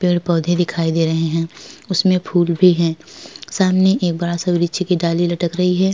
पेड़ पोधे दिखाई दे रहे है। इसमें फूल भी है। सामने एक बड़ा सा वृक्ष की डाली लटक रही है।